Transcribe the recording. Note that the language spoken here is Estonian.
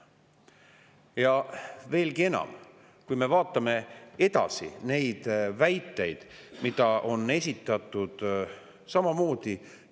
Ja veelgi enam, vaatame edasi neid väiteid, mida on esitatud samamoodi.